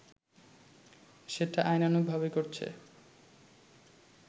সেটা আইনানুগভাবেই করছে